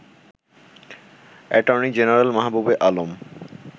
attorney general Mahbubey Alam